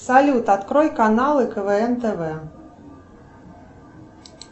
салют открой каналы квн тв